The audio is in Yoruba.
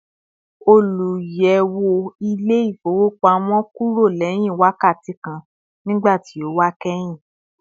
Oluyẹwo ile-ifowopamọ kúrò lẹ́hìn wákàtí kan nígbàtí ó wa kẹhin